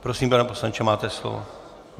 Prosím, pane poslanče, máte slovo.